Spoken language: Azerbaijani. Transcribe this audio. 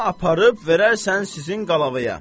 Bunu aparıb verərsən sizin qəlavaya.